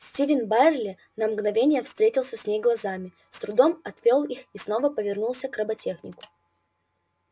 стивен байерли на мгновение встретился с ней глазами с трудом отвёл их и снова повернулся к роботехнику